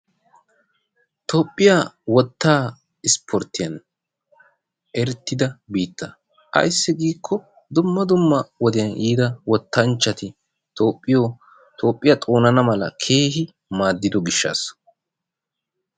Toophphiya wottaa ispporttiyan erettida biitta. Ayssi giikko dumma dumma wodiyan yiida wottanchchati Toophphiyo Toophphiya xoonana mala keehi maadido gishshaassa.